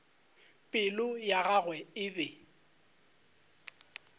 pelo ya gagwe e be